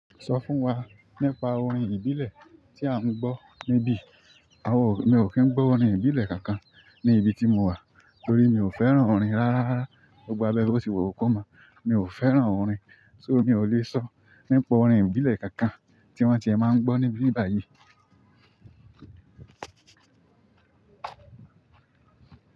Sọ fún wa nípa orin ìbílẹ̀ tí a ń gbọ́ níbí. A mi ò kí ń gbọ́ orin ìbílẹ̀ kankan ní ìbi tí mo wà torí mi ò fẹ́ràn orin rárá. Gbogbo abẹ́ boti wù kọ́ máa, mi ò fẹ́ràn orin. So mi ò lè sọ nípa orin ìbílẹ̀ kankan tí wọ́n tí ẹ má ngbo níbí báyìí.